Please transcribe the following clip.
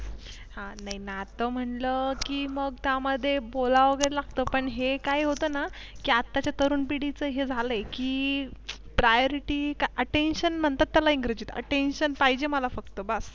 ह नातं म्हणलं की मग त्यामध्ये बोलावे लागतं पण हे काय होतं ना की आत्ताच्या तरुण पिढीच हे झाले की Priority काय Attention म्हणतात त्याला इंग्रजीत Attention पाहिजे मला बस.